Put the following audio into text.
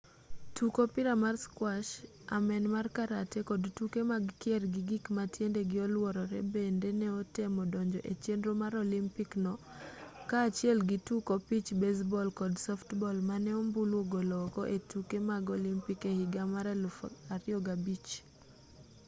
tuk opira mar squash amen mar karate kod tuke mag kier gi gik ma tiendegi oluorore bende ne otemo donjo e chenro mar olympic no kaachiel gi tuk opich baseball kod softball mane ombulu ogolo oko e tuke mag olympic e higa mar 2005